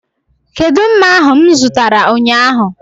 Kedụ mma ahu mụ zụtara ụnyaahụ?